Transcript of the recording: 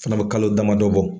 Fana be kalo damadɔ bɔ